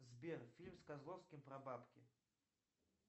сбер фильм с козловским про бабки